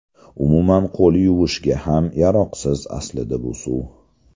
Umuman qo‘l yuvishga ham yaroqsiz aslida bu suv.